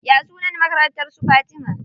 Ya sunan makarantar su Fatima?